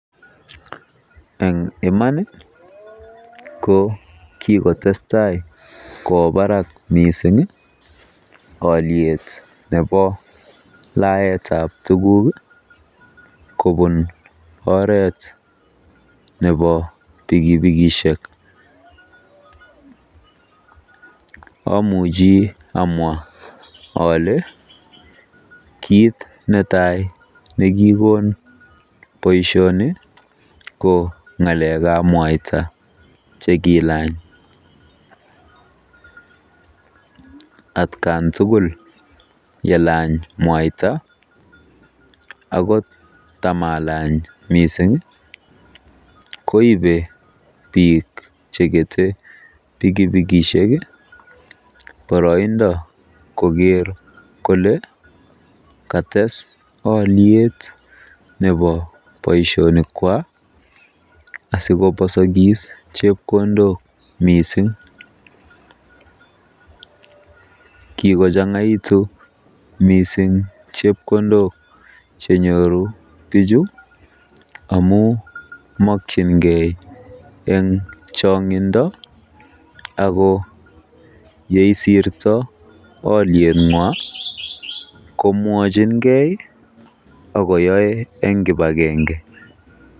Eng iman ko kikotestai kowo barak miising oliet nebo laetab tuguk kobun oreet nebo pikipikishek. Amuchi amwa ale kiit netai nekikon boisioni ko langetab mwaita. Atkan tukul yelany mwaita, akot tamalany mising koibe biik chekete pikipikishek poroindo koker kole katees oliet nebo boisionikwa asikoposokis chepkondokwa mising. Kikochang'aitu mising chepkondok chenyoru bichu amu mokyingei eng chong'indo ako yeiirtoi olieng'wa komwojingei akoyoei eng kipagenge